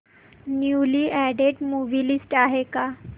newly added movie list आहे का